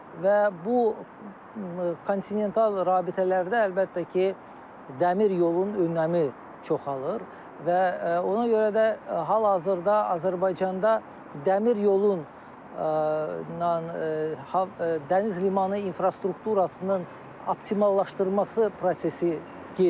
Və bu kontinental rabitələrdə əlbəttə ki, dəmir yolunun önəmi çoxalır və ona görə də hal-hazırda Azərbaycanda dəmir yolunun dəniz limanı infrastrukturunun optimallaşdırılması prosesi gedir.